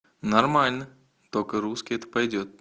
нормально только русский это пойдёт